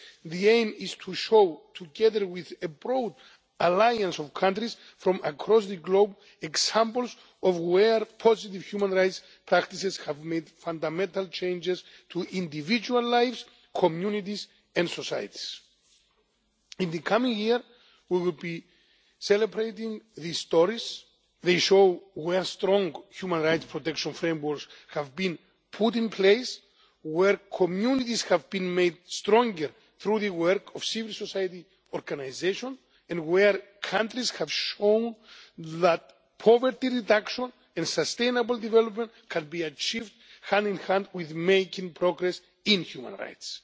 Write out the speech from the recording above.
The aim is to show, together with a broad alliance of countries from across the globe, examples of where positive human rights practices have made fundamental changes to individual lives, communities and societies. In the coming year we will be celebrating these stories. They show where strong human rights protection frameworks have been put in place, where communities have been made stronger through the work of civil society organisations and where countries have shown that poverty reduction and sustainable development can be achieved hand in hand with making progress in human rights.